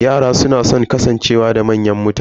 Yara suna da san kasancewa da manyan mutane.